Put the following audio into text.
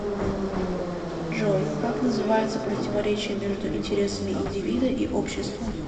джой как называется противоречие между интересами индивида и общества